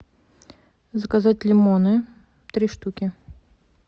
заказать лимоны три штуки